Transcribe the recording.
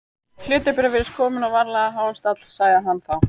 Hlutabréf virðast komin á varanlega háan stall sagði hann þá.